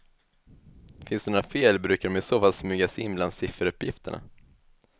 Finns det några fel brukar de i så fall smyga sig in bland sifferuppgifterna.